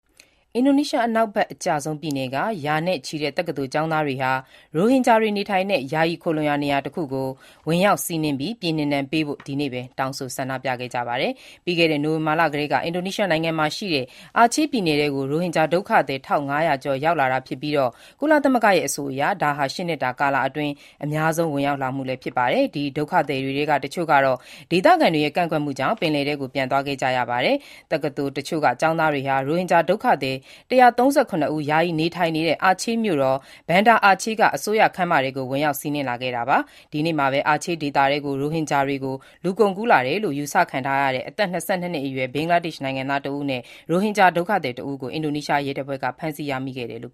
အင်ဒိုနီးရှားအနောက်ဘက်အစွန်ဆုံး Aceh ပြည်နယ်က ရာနဲ့ချီတဲ့ တက္ကသိုလ်ကျောင်းသားတွေဟာ ရိုဟင်ဂျာတွေနေထိုင်တဲ့ ယာယီခိုလှုံရာနေရာတခုကို ဝင်ရောက်စီးနင်းပြီး ပြည်နှင်ဒဏ်ပေးဖို့ ဒီနေ့ပဲ တောင်းဆို ဆန္ဒပြခဲ့ကြပါတယ်။ ပြီးခဲ့တဲ့ နိုဝင်ဘာလကတည်းက အာချေးပြည်နယ်ထဲကို ရိုဟင်ဂျာဒုက္ခသည် ၁,၅၀၀ ကျော်ရောက်လာတာဖြစ်ပြီး၊ ကုလသမဂ္ဂရဲ့ အဆိုအရ ဒါဟာ ၈ နှစ်တာကာလအတွင်း တလထဲမှာ အများဆုံးဝင်ရောက်လာမှုဖြစ်ပါတယ်။ ဒီဒုက္ခသည်တွေထဲကတချို့ကတော့ ဒေသခံတွေရဲ့ကန့်ကွက်မှုကြောင့် ပင်လယ်ထဲကို ပြန်သွားခဲ့ကြရပါတယ်။ တက္ကသိုလ်တချို့က ကျောင်းသားတွေဟာ ရိုဟင်ဂျာဒုက္ခသည် ၁၃၇ ဦး ယာယီနေထိုင်နေတဲ့ အာချေးမြို့တော် Banda Aceh က အစိုးရခန်းမထဲကို ဝင်ရောက် စီးနင်းခဲ့တာပါ။ ဒီကနေ့ တနေ့ထဲမှာဘဲ ရိုဟင်ဂျာတွေ အာချေးဒေသထဲကို လူကုန်ကူး ခေါ်ဆောင်လာတယ်လို့ ယူဆခံထားရတဲ့ အသက် ၂၂ နှစ်အရွယ် ဘင်္ဂလားဒေ့ရှ် နိုင်ငံသား တဦးနဲ့ အသက် ၅၃ နှစ်အရွယ် ရိုဟင်ဂျာ တဦးတို့ကို အင်ဒိုနီးရှား ရဲတပ်ဖွဲ့က ဖမ်းဆီးရမိခဲ့တယ်လို့